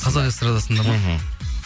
қазақ эстрадасында ма мхм